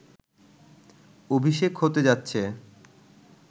অভিষেক হতে যাচ্ছে